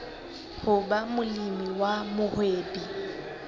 ho ba molemi wa mohwebi